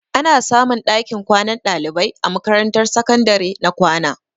Ana samun ɗakin kwanan ɗalibai a makarantar sakandare na kwana.